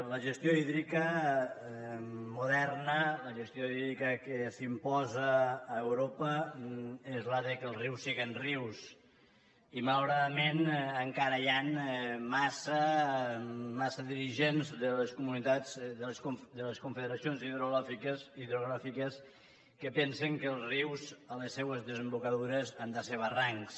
la gestió hídrica moderna la gestió hídrica que s’imposa a europa és que els rius siguin rius i malauradament encara hi han massa dirigents de les comunitats de les confederacions hidrogràfiques que pensen que els rius a les seues desembocadures han de ser barrancs